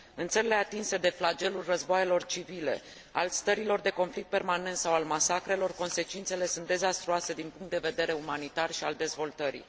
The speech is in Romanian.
În țările atinse de flagelul războaielor civile, al stărilor de conflict permanent sau al masacrelor, consecințele sunt dezastruoase din punct de vedere umanitar și al dezvoltării.